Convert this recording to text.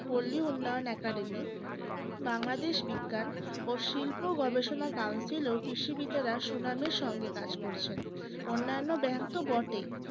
পল্লী উন্নয়ন academy বাংলাদেশ বিজ্ঞান ও শিল্প গবেষণা council ও কৃষিবিদেরা সুনামের সঙ্গে কাজ করছেন অন্যান্য bank তো বটেই